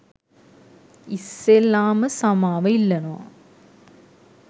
ඉස්සෙල්ලාම සමාව ඉල්ලනවා